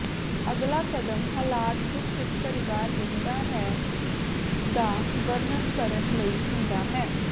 ਅਗਲਾ ਕਦਮ ਹਾਲਾਤ ਜਿਸ ਵਿਚ ਪਰਿਵਾਰ ਰਹਿੰਦਾ ਹੈ ਦਾ ਵਰਣਨ ਕਰਨ ਲਈ ਹੁੰਦਾ ਹੈ